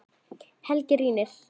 Helgi rýnir.